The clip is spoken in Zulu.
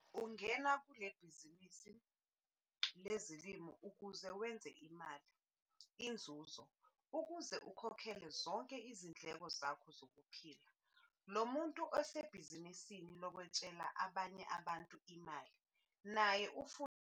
Ungene kule libhizinisini lezolimo ukuze wenze imali, inzuzo, ukuze ukhokhele zonke izindleko zakho zokuphila. Lo muntu osebhizinisini lokwetshele abanye abantu imali naye ufuna ukwenza inzuzo.